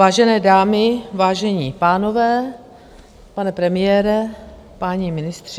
Vážené dámy, vážení pánové, pane premiére, páni ministři.